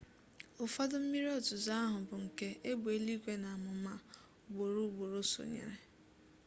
ụfọdụ mmiri ozuzo ahụ bụ nke egbe eluigwe na amụma ugboro ugboro sonyere